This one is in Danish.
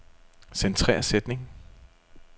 Centrer sætning.